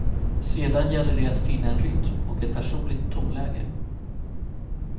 Sedan gäller det att finna en rytm och ett personligt tonläge.